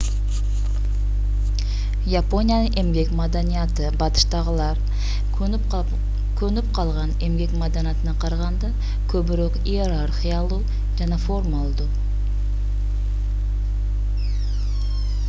япониянын эмгек маданияты батыштагылар көнүп калган эмгек маданитына карганда көбүрөөк иерархиялуу жана формалдуу